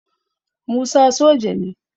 Musa soja ne